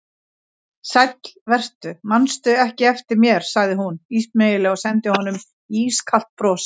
Sæll vertu, mannstu ekki eftir mér sagði hún ísmeygilega og sendi honum ískalt bros.